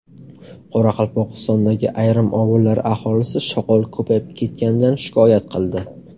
Qoraqalpog‘istondagi ayrim ovullar aholisi shoqol ko‘payib ketganidan shikoyat qildi.